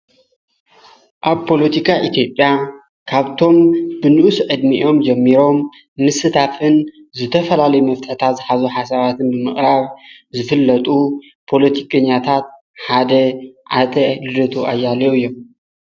ኣብ ጶሎቲካ ኢቲጴያ ካብቶም ብንኡስ ዕድሚዮም ጀሚሮም ንስታፍን ዝተፈላለይ መፍተታ ዝኃዙ ሓሳባትን ብምቕራብ ዝፍለጡ ጶሎቲቀኛያታት ሓደ ዓተ ልደጡ ኣያለዩ እዮም።